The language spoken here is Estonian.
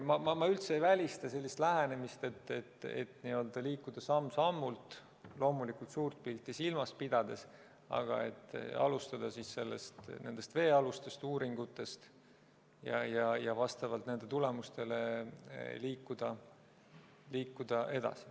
Ma üldse ei välista sellist lähenemist, et liikuda samm-sammult, loomulikult suurt pilti silmas pidades, aga alustada nendest veealustest uuringutest ja vastavalt nendele tulemustele liikuda edasi.